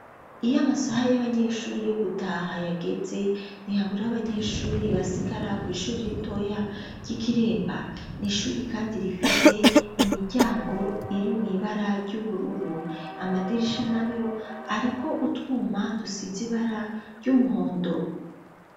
Iyo amasaha y'abanyeshuri yo gutaha yageze ntihabure abanyeshuri basigara kw'ishuri r'itoya ryi Kiremba n'ishuri kandi rifise imiryango iri mw'ibara ry'ubururu amadirisha nayo ariko utwuma dusize ibara ry'umuhondo.